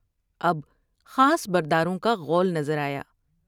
اب خاص برداروں کا غول نظر آیا ۔